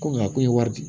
Ko nka ko ye wari di